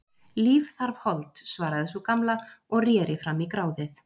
Líf þarf hold, svaraði sú gamla og reri fram í gráðið.